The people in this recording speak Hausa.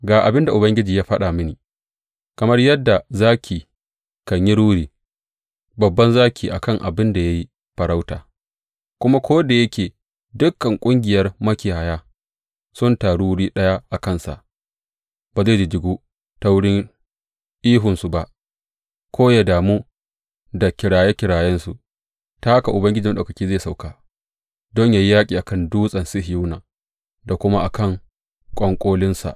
Ga abin da Ubangiji ya faɗa mini, Kamar yadda zaki kan yi ruri babban zaki a kan abin da ya yi farauta, kuma ko da yake dukan ƙungiyar makiyaya sun taru wuri ɗaya a kansa, ba zai jijjigu ta wurin ihunsu ba ko ya damu da kiraye kirayensu, ta haka Ubangiji Maɗaukaki zai sauko don yă yi yaƙi a kan Dutsen Sihiyona da kuma a kan ƙwanƙolinsa.